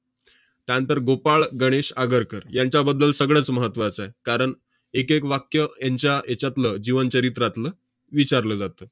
त्यानंतर गोपाळ गणेश आगरकर यांच्याबद्दल सगळंच महत्त्वाचं आहे, कारण एकएक वाक्य यांच्या हेच्यातलं जीवनचरित्रातलं विचारलं जातं.